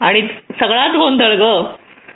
आणि सगळ्याच गोंधळ